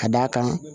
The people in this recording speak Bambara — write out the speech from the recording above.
Ka d'a kan